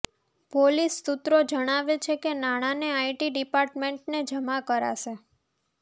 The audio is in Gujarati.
પોલીસ સુત્રો જણાવે છે કે નાણાને આઈટી ડીપાર્ટમેન્ટને જમા કરાશે